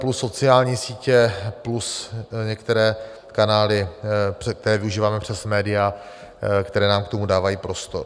Plus sociální sítě, plus některé kanály, které využíváme přes média, která nám k tomu dávají prostor.